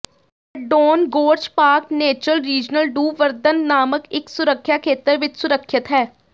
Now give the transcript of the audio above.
Verdon Gorge Park Natural Regional du Verdon ਨਾਮਕ ਇੱਕ ਸੁਰਖਿਆ ਖੇਤਰ ਵਿੱਚ ਸੁਰੱਖਿਅਤ ਹੈ